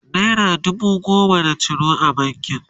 naira dubu goma na ciro a bankin